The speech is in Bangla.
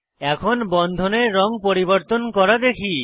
এখন বন্ধনের রঙ পরিবর্তন করা দেখি